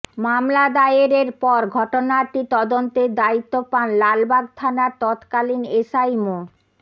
মামলা দায়েরের পর ঘটনাটি তদন্তের দায়িত্ব পান লালবাগ থানার তৎকালীন এসআই মো